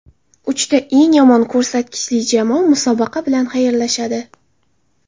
Uchta eng yomon ko‘rsatkichli jamoa musobaqa bilan xayrlashadi.